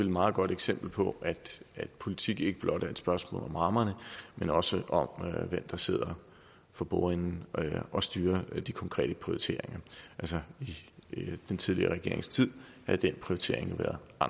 meget godt eksempel på at politik ikke blot er et spørgsmål om rammerne men også om hvem der sidder for bordenden og styrer de konkrete prioriteringer altså i den tidligere regerings tid havde den prioritering